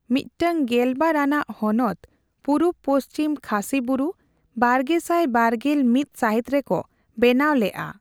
ᱢᱤᱫᱴᱟᱝ ᱜᱮᱞ ᱵᱟᱨ ᱟᱱᱟᱜ ᱦᱚᱱᱚᱛ, ᱯᱩᱨᱩᱵᱽ ᱯᱚᱪᱷᱤᱢ ᱠᱷᱟᱥᱤ ᱵᱩᱨᱩ, ᱵᱟᱨᱜᱮᱥᱟᱭ ᱵᱟᱨᱜᱮᱞ ᱢᱤᱛ ᱥᱟᱦᱤᱛ ᱨᱮᱠᱚ ᱵᱮᱱᱟᱣ ᱞᱮᱜᱼᱟ᱾